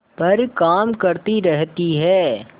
पर काम करती रहती है